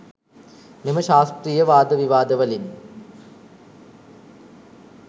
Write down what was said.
මෙම ශාස්ත්‍රිය වාද විවාදවලින්